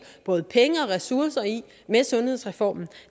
både penge og ressourcer i med sundhedsreformen